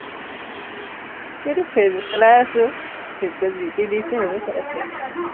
এইটো ফেচবুক চলাই আছো, ফেচবুকত যি টি দিছে সেইবোৰ চাই আছো